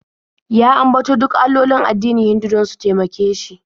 Ya ambato duk allolin addinin Hindu don su taimake shi.